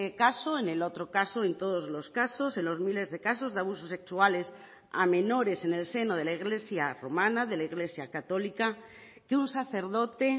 caso en el otro caso en todos los casos en los miles de casos de abusos sexuales a menores en el seno de la iglesia romana de la iglesia católica que un sacerdote